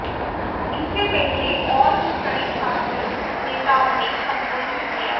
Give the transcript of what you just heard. इससे पहले और भी कई छात्र नेताओं ने संबोधित किया